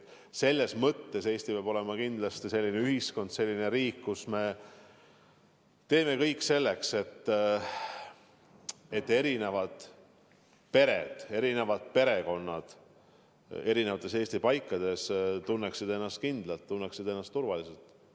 Eesti peab olema kindlasti selline ühiskond, selline riik, kus me teeme kõik selleks, et erinevad pered, erinevad perekonnad Eesti eri paikades tunneksid ennast kindlalt, tunneksid ennast turvaliselt.